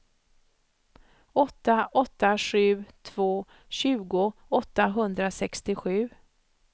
åtta åtta sju två tjugo åttahundrasextiosju